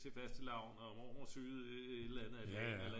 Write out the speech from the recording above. til fastelavn og mormor syede et eller andet